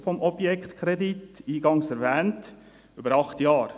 Die Laufzeit des Objektkredits erstreckt sich, wie eingangs erwähnt, über acht Jahre.